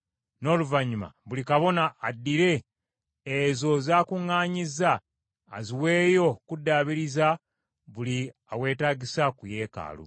n’oluvannyuma buli kabona addire ezo z’akuŋŋaanyizza aziweeyo okuddaabiriza buli aweetaagisa ku yeekaalu.”